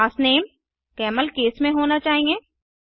class name camelcase में होना चाहिए